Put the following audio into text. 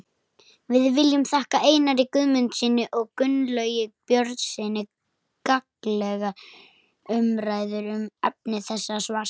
Við viljum þakka Einari Guðmundssyni og Gunnlaugi Björnssyni gagnlegar umræður um efni þessa svars.